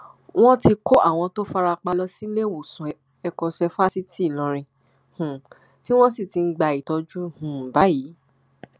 wọn ti kọ àwọn tó fara pa lọ síléemọsán ẹkọṣẹ fásitì ìlọrin um tí wọn sì ti ń gba ìtọjú um báyìí